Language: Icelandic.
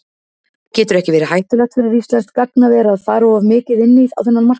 Getur ekki verið hættulegt fyrir íslenskt gagnaver að fara of mikið inn á þennan markað?